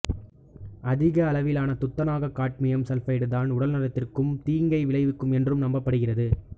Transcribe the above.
அதிக அளவிலான துத்தநாகம் காட்மியம் சல்பைடுதான் உடல்நலத்திற்கு தீங்கை விளைவிக்கும் என்று நம்பப்படுகிறது